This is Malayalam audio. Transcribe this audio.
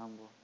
ആവുമ്പൊ